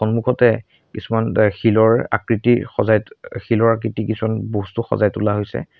সন্মুখতে কিছুমান অ শিলৰ আকৃতি সজাই অ শিলৰ আকৃতি কিছুমান বস্তু সজাই তোলা হৈছে।